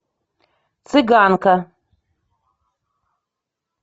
цыганка